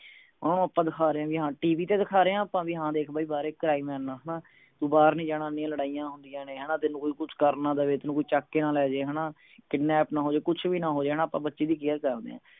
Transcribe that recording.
ਓਹਨੂੰ ਆਪਾਂ ਦਿਖਾ ਰਹੇ ਆ ਵੀ ਹਾਂ TV ਤੇ ਦਿਖਾ ਰਹੇ ਹੈ ਆਪਾਂ ਵੀ ਹਾਂ ਦੇਖ ਬਈ ਬਾਹਰ ਦੇਖ crime ਹੈ ਇੰਨਾ ਹਣਾ ਤੂੰ ਬਾਹਰ ਨਹੀਂ ਜਾਣਾ ਇੰਨੀਆਂ ਲੜਾਈਆਂ ਹੁੰਦੀਆਂ ਨੇ ਹਣਾ ਤੈਨੂੰ ਕੋਈ ਕੁਛ ਕਰ ਨਾ ਦਵੇ ਤੈਨੂੰ ਕੋਈ ਚੁੱਕ ਕੇ ਨਾ ਲੈ ਜਾਏ ਹਣਾ kidnap ਨਾ ਹੋਜੇ ਕੁਛ ਵੀ ਨਾ ਹੋਜੇ ਹਣਾ ਆਪਾਂ ਬੱਚੇ ਦੀ care ਕਰਦੇ ਹੈਂ